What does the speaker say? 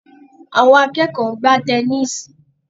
Àwọn akẹ́kọ̀ọ́ ń gbá tẹníìsì